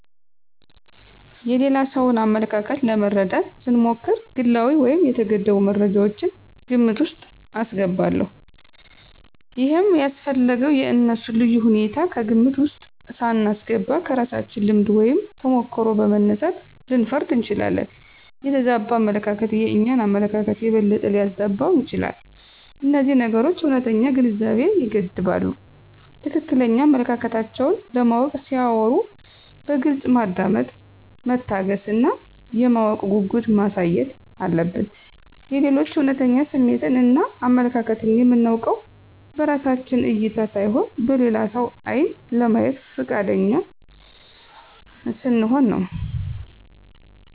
የሌላ ሰውን አመለካከት ለመረዳት ስሞክር ግላዊ ወይም የተገደቡ መረጃወችን ግምት ውስጥ አስገባለሁ። ይሄም ያስፈለገው የእነሱን ልዩ ሁኔታ ከግምት ውስጥ ሳናስገባ ከራሳችን ልምድ ወይም ተሞክሮ በመነሳት ልንፈርድ እንችላለን። የተዛባ አመለካከት የእኛን አመለካከት የበለጠ ሊያዛባው ይችላል። እነዚህ ነገሮች እውነተኛ ግንዛቤን ይገድባሉ። ትክክለኛ አመለካከታቸውን ለማወቅ ሲያወሩ በግልጽ ማዳመጥ፣ መታገስ እና የማወቅ ጉጉት ማሳየት አለብን። የሌሎችን እውነተኛ ስሜትን እና አመለካከትን የምናውቀውን በራሳችን እይታ ሳይሆን በሌላ ሰው ዓይን ለማየት ፈቃደኛ ስንሆን ነው።